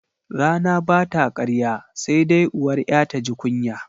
Rana bata karya sai dai uwar 'ya taji kunya.